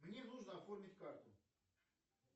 мне нужно оформить карту